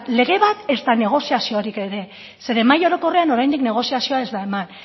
lege bat ezta negoziaziorik ere zeren mahai orokorrean oraindik negoziazioa ez da eman